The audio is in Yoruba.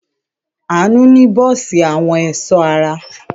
Àánú ní bọ́ọ́sì àwọn ẹ̀sọ́ ara.